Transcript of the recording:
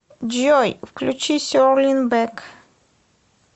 джой включи сер лин бэк